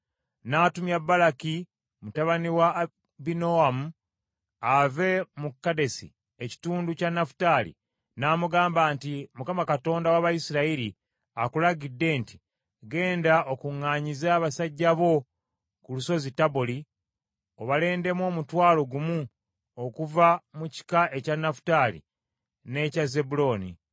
N’atumya Baraki mutabani wa Abinoamu ave mu Kedesi ekitundu kya Nafutaali, n’amugamba nti, “ Mukama Katonda w’Abayisirayiri akulagidde nti, ‘Ggenda okuŋŋaanyize abasajja bo ku lusozi Taboli, obalondemu omutwalo gumu okuva mu kika ekya Nafutaali n’ekya Zebbulooni.